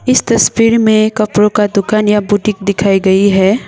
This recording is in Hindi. इस तस्वीर में कपड़ों का दुकान या बुटीक दिखाई गई है।